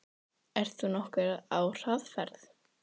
Magnús Geir Eyjólfsson: Ert þú nokkuð á hraðferð?